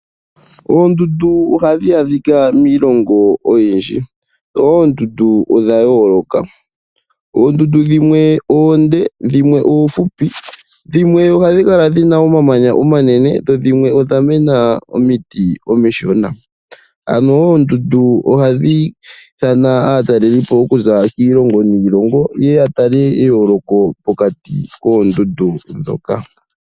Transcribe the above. Oondundu ohadhi adhika miilongo oyindji dho oondundu odha yooloka, oondundu dhimwe oonde dhimwe oofupi dhimwe ohadhi kala dhina omamanya omanene dho dhimwe odha mena omiti omishona, ano oondundu ohadhi ithana aatalelipo okuza kiilongo niilongo ye ya tale eyoloko pokati koondundu dhoka.